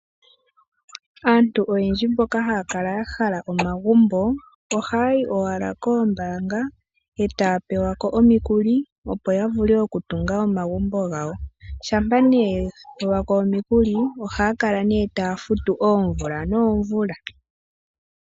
Aantu oyendji mboka haya kala ya hala omagumbo ohaya yi owala koombanga etaya pewa ko omikuli opo ya vule oku tunga omagumbo gawo, shampa ne yapewa ko omikuli ohaya kala ne taya futu oomvula noomvula.